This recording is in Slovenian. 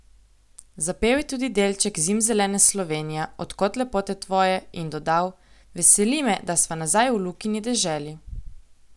Zapel je tudi delček zimzelene Slovenija, od kod lepote tvoje in dodal: "Veseli me, da sva nazaj v Lukini deželi.